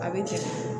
A bɛ cɛ